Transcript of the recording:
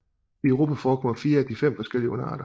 I Europa forekommer 4 af de 5 forskellige underarter